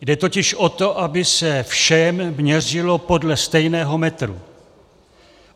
Jde totiž o to, aby se všem měřilo podle stejného metru.